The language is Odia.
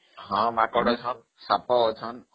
ହଁ ମାଙ୍କଡ ଅଛନ୍ତି, ସାପ ଅଛନ୍ତି